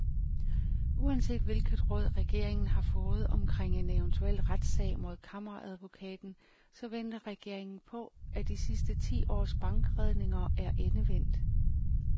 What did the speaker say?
Uanset hvilket råd regeringen har fået omkring en eventuel retssag mod kammeradvokaten, så venter regeringen på, at de sidste ti års bankredninger er endevendt.